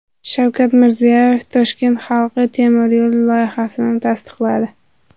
Shavkat Mirziyoyev Toshkent halqa temiryo‘li loyihasini tasdiqladi.